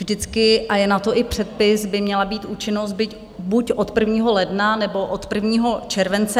Vždycky - a je na to i předpis - by měla být účinnost být buď od 1. ledna, nebo od 1. července.